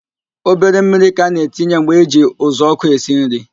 Obere mmiri ka a na-etinye mgbe eji uzuọkụ esi nri